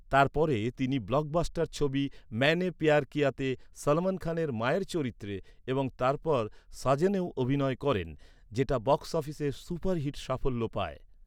তারপরে তিনি ব্লকবাস্টার ছবি ম্যায়নে প্যায়ার কিয়াতে সলমন খানের মায়ের চরিত্রে এবং তারপর সাজনেও অভিনয় করেন যেটা বক্স অফিসে সুপারহিট সাফল্য পায়।